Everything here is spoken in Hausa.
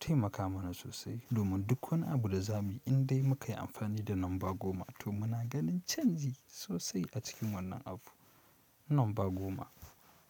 taimaka mana sosai domin duk wani abu da zamuyi indai muka yi amfani da lamba goma to muna ganin canji sosai a cikin wannan abu. Lamba goma.